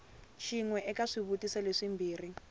xin we eka swivutiso leswimbirhi